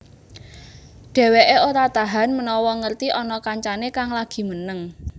Dheweké ora tahan menawa ngerti ana kancané kang lagi meneng